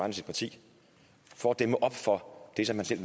af sit parti for at dæmme op for det som han selv